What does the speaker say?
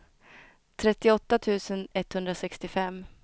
trettioåtta tusen etthundrasextiofem